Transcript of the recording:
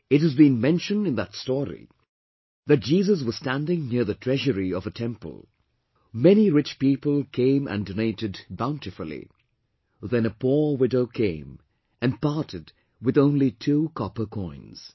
It has been mentioned in that story that Jesus was standing near the treasury of a temple; many rich people came and donated bountifully; then a poor widow came and parted with only two copper coins